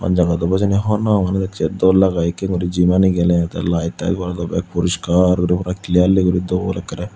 hon jagat obow hijeni hornopang manus ekje doll lagey ikkey guri jim anot geley te light te gorelloi beg puriskar guri puro clearly guri doll akkerey.